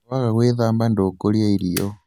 waga gwĩthamba ndũkũrĩa irio